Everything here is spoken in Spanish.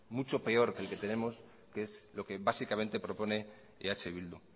mucho peor que el que tenemos que es lo que básicamente propone eh bildu